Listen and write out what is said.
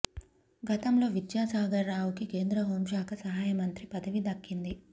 గతంలో విద్యాసాగర్ రావుకు కేంద్ర హోంశాఖ సహాయ మంత్రి పదవి దక్కింది